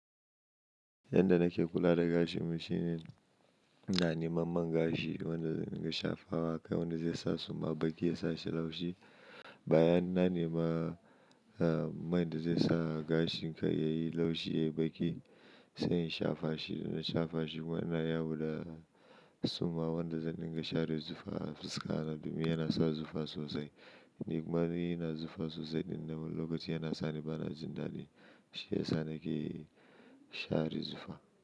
Yanda nake kula da gashin mu shine, na nema man gashi wanda zan dinga shafa wa kai wanda zai sa suma baki ya sa shi laushi. Bayan na nema, ah, man da zai sa gashin kai yayi laushi yayi baki sai in shafa shi. Da na shafa shi kuma na yawo da suma wanda zan dinga share zufa a fuska na domin yana sa zufa sosai. Ni kuma ina zufa sosai din nan lokacin yana sani bana jin daɗi shiyasa nake share zufa.